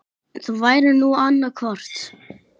Það væri nú annað hvort.